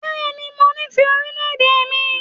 Bẹẹni, mo nífẹ̀ẹ́ orílẹ̀-èdè mi.